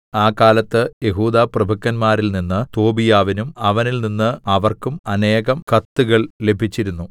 ആ കാലത്ത് യെഹൂദാപ്രഭുക്കന്മാരിൽ നിന്ന് തോബീയാവിനും അവനിൽനിന്ന് അവർക്കും അനേകം കത്തുകൾ ലഭിച്ചിരുന്നു